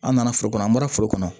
An nana foro kɔnɔ an bɔra foro kɔnɔ